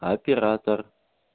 оператор